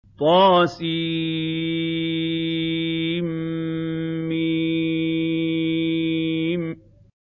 طسم